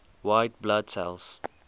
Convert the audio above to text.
white blood cells